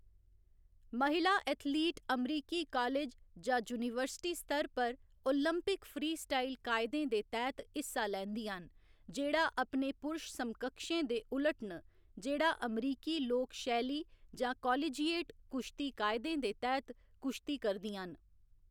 महिला एथलीट अमरीकी कालेज जां यूनीवर्सिटी स्तर पर ओलंपिक फ्रीस्टाइल कायदें दे तैह्‌‌‌त हिस्सा लैंदियां न, जेह्‌‌ड़ा अपने पुरश समकक्षें दे उलट न जेह्‌‌ड़ा अमरीकी लोक शैली जां कालेजिएट कुश्ती कायदें दे तैह्‌‌‌त कुश्ती करदियां न।